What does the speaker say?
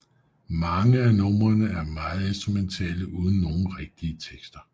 Mange af numrene er meget instrumentale uden nogle rigtige tekster